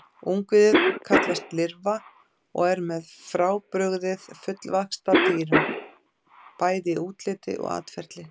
Ungviðið kallast lirfa og er með öllu frábrugðið fullvaxta dýrum, bæði í útliti og atferli.